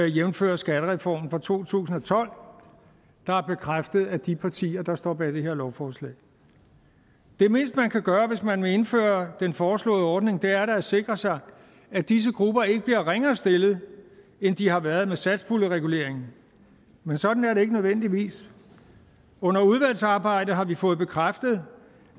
jævnfør skattereformen fra to tusind og tolv der er bekræftet af de partier der står bag det her lovforslag det mindste man kan gøre hvis man vil indføre den foreslåede ordning er da at sikre sig at disse grupper ikke bliver ringere stillet end de har været med satspuljereguleringen men sådan er det ikke nødvendigvis under udvalgsarbejdet har vi fået bekræftet